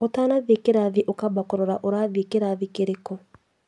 ũtanathiĩ kĩrathi ũkamba ũkarora ũrathiĩ kĩrathi kĩrĩkũ